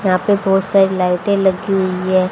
यहां पे बहोत सारी लाइटे लगी हुई हैं।